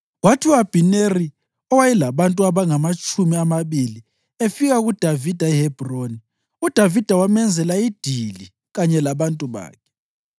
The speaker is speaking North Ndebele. Kwathi u-Abhineri, owayelabantu abangamatshumi amabili, efika kuDavida eHebhroni, uDavida wamenzela idili kanye labantu bakhe.